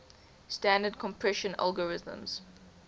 standard compression algorithms